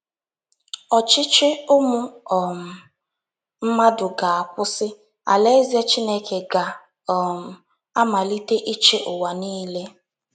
Ọchịchị ụmụ um mmadụ ga - akwụsị, Alaeze Chineke ga - um amalite ịchị ụwa niile.